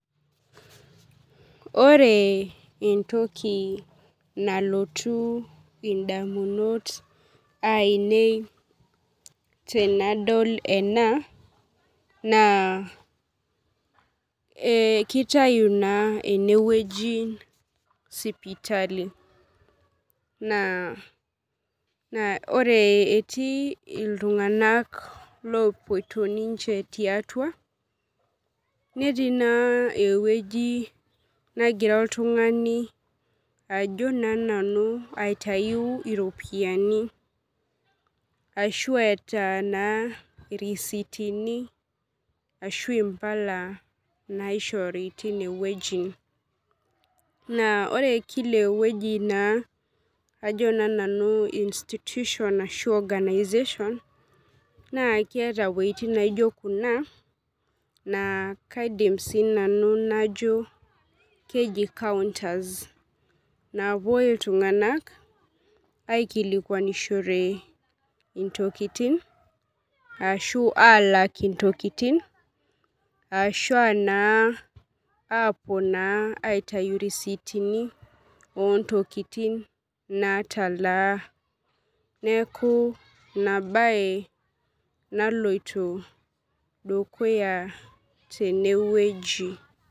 Ore entoki nalotu ndamunot ainei tanadol ena na emkitau na enewueji sipitali na ore etii ltunganak lopoito tiatua netii na ewueji nagira oltungani ajo na nanu iropiyiani asi eeta irisitini ashu impala naishori tinewueji na ore kila weuji na keeta wuetin naijobkuna na kajo nanu keji counters napuoi ltunganak aikilikwanishore ntokitin ashu alak ntokitin ashu apuo naa aitau irisitini ontokitin natalaa neaku inabae naloito dukuya tenewueji.